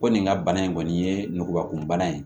Ko nin ka bana in kɔni ye ngukuba kun bana ye